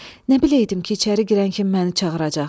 Nə biləydim ki, içəri girən kimi məni çağıracaq.